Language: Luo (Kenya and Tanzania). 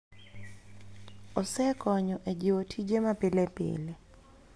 Osekonyo e jiwo tije ma pile pile.